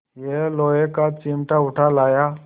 यह लोहे का चिमटा उठा लाया